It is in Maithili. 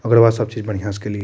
ओकर बाद सब चीज बढ़िया से केलिए।